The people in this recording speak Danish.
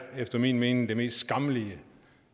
efter min mening mest skammelige